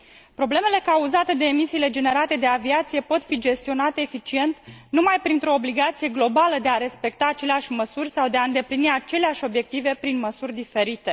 Problemele cauzate de emisiile generate de aviație pot fi gestionate eficient numai printr o obligație globală de a respecta aceleași măsuri sau de a îndeplini aceleași obiective, prin măsuri diferite.